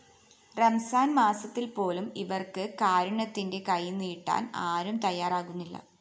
റംസാന്‍ മാസത്തില്‍ പോലും ഇവര്‍ക്ക് കാരുണ്യത്തിന്റെ കൈനീട്ടാന്‍ ആരും തയാറാകുന്നില്ല